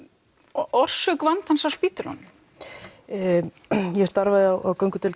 orsök vandans á spítölunum ég starfaði á göngudeild